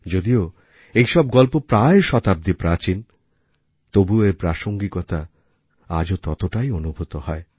যদিও এইসব গল্প প্রায় শতাব্দী প্রাচীন তবুও এর প্রাসঙ্গিকতা আজও ততটাই অনুভূত হয়